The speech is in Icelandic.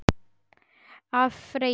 Ef. Freyju